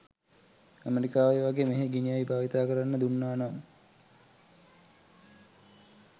ඇමරිකාවේ වගේ මෙහේ ගිනි අවි භාවිතා කරන්න දුන්නා නම්.